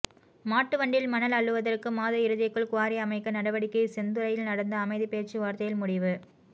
மாட்டுவண்டியில் மணல் அள்ளுவதற்கு மாத இறுதிக்குள் குவாரி அமைக்க நடவடிக்கை செந்துறையில் நடந்த அமைதி பேச்சுவார்த்தையில் முடிவு